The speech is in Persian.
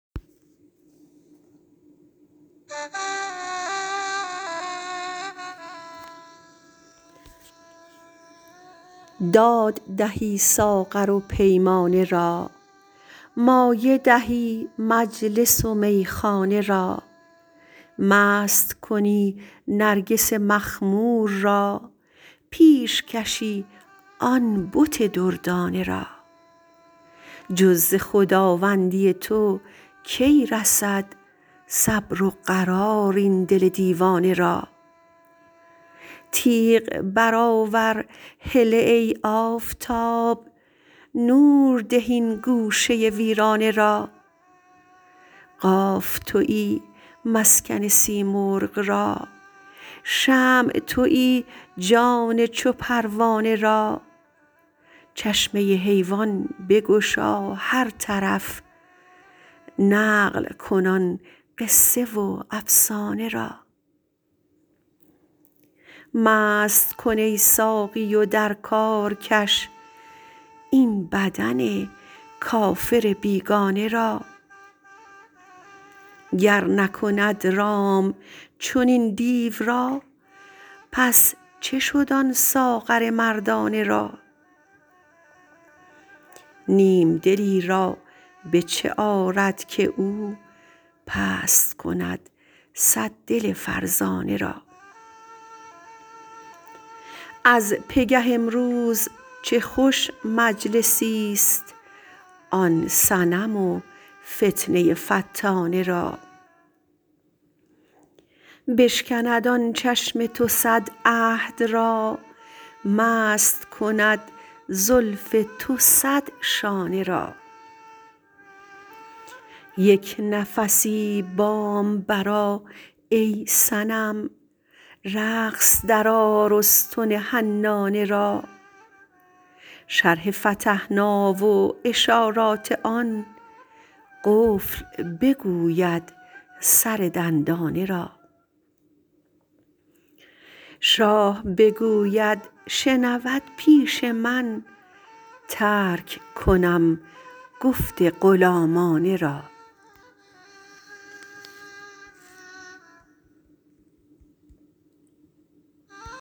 داد دهی ساغر و پیمانه را مایه دهی مجلس و میخانه را مست کنی نرگس مخمور را پیش کشی آن بت دردانه را جز ز خداوندی تو کی رسد صبر و قرار این دل دیوانه را تیغ برآور هله ای آفتاب نور ده این گوشه ویرانه را قاف توی مسکن سیمرغ را شمع توی جان چو پروانه را چشمه حیوان بگشا هر طرف نقل کن آن قصه و افسانه را مست کن ای ساقی و در کار کش این بدن کافر بیگانه را گر نکند رام چنین دیو را پس چه شد آن ساغر مردانه را نیم دلی را به چه آرد که او پست کند صد دل فرزانه را از پگه امروز چه خوش مجلسی ست آن صنم و فتنه فتانه را بشکند آن چشم تو صد عهد را مست کند زلف تو صد شانه را یک نفسی بام برآ ای صنم رقص درآر استن حنانه را شرح فتحنا و اشارات آن قفل بگوید سر دندانه را شاه بگوید شنود پیش من ترک کنم گفت غلامانه را